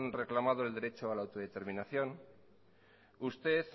reclamado el derecho a la autodeterminación usted